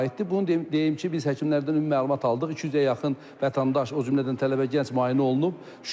Bunu deyim ki, biz həkimlərdən ümumi məlumat aldıq, 200-ə yaxın vətəndaş, o cümlədən tələbə-gənc müayinə olunub.